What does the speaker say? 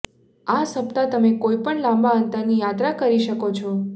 આ સપ્તાહ તમે કોઈપણ લાંબા અંતર ની યાત્રા કરી શકો છો